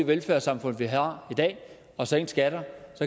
velfærdssamfund vi har i dag og sænke skatter